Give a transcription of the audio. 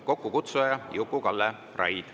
Kokkukutsuja on Juku-Kalle Raid.